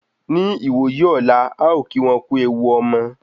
Ní ìwòyí ọ̀la,à o kí wọn kú ewu omo